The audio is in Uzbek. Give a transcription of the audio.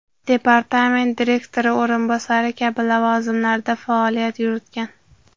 departament direktori o‘rinbosari kabi lavozimlarda faoliyat yuritgan.